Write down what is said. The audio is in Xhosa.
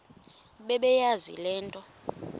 bebeyazi le nto